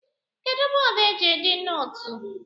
Kedụ bọọdụ eji ede nootu?